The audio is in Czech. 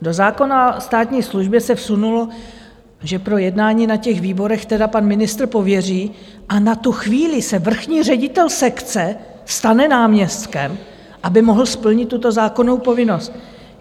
Do zákona o státní službě se vsunulo, že pro jednání na těch výborech tedy pan ministr pověří a na tu chvíli se vrchní ředitel sekce stane náměstkem, aby mohl splnit tuto zákonnou povinnost.